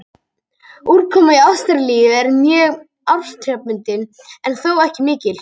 Úrkoma í Ástralíu er mjög árstíðabundin en þó ekki mikil.